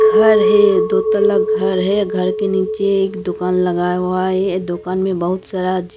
घर है दो तला घर है घर के नीचे एक दुकान लगाया हुआ है दुकान में बहुत सारा।